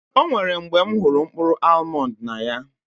Ọ nwèrè mgbè m hụrụ mkpụrụ almọnd n'anya